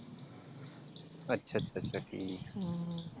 ਅੱਛਾ ਅੱਛਾ ਅੱਛਾ ਠੀਕ ਆ ਹਮ